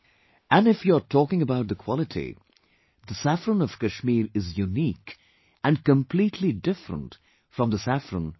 And if you're talking about the quality, the saffron of Kashmir is unique and completely different from the saffron of other countries